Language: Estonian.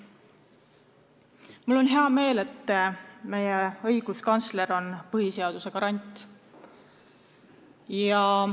Mul on hea meel, et meie õiguskantsler on põhiseaduse garant.